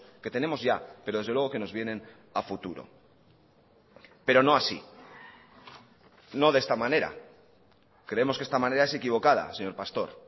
que tenemos ya pero desde luego que nos vienen a futuro pero no así no de esta manera creemos que esta manera es equivocada señor pastor